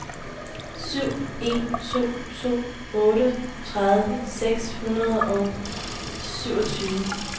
syv en to to otteogtredive seks hundrede og syvogtyve